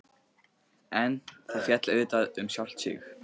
En það féll auðvitað um sjálft sig.